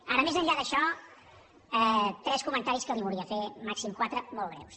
ara més enllà d’això tres comentaris que li volia fer màxim quatre molt breus